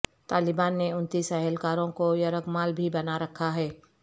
طالبان نے انتیس اہلکاروں کو یرغمال بھی بنا رکھا ہے